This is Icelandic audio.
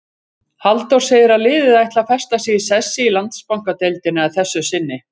Halldór segir að liðið ætli að festa sig í sessi í Landsbankadeildinni að þessu sinni.